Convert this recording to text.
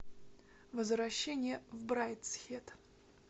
возвращение в брайдсхед